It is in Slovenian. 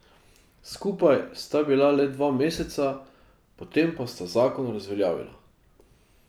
Skupaj sta bila le dva meseca, potem pa sta zakon razveljavila.